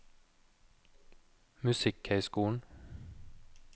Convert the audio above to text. musikkhøyskolen